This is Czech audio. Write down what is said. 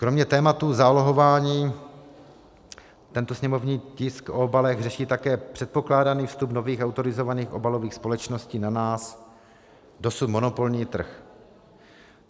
Kromě tématu zálohování tento sněmovní tisk o obalech řeší také předpokládaný vstup nových autorizovaných obalových společností na náš dosud monopolní trh.